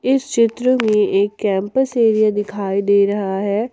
इस चित्र में एक कैम्पस एरिया दिखाई दे रहा है।